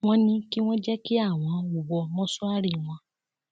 wọn ní kí wọn jẹ kí àwọn wọ mọṣúárì wọn